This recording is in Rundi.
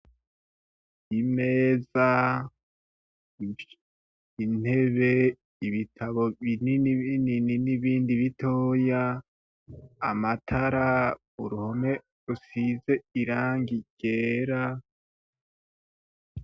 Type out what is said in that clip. Imezaa , Intebee, Ibitabo binini binini n'Ibindi bitoya , Amatara, Uruhome rusize Irangi ryera,